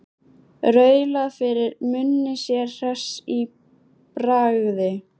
Raulaði fyrir munni sér hress í bragði.